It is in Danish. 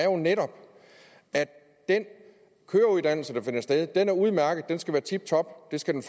jo netop at den køreuddannelse der dér finder sted er udmærket den skal være tiptop det skal den